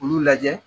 Olu lajɛ